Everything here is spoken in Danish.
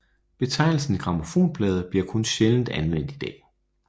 Betegnelsen grammofonplade bliver kun sjældent anvendt i dag